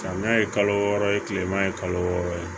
Samiya ye kalo wɔɔrɔ ye tilema ye kalo wɔɔrɔ ye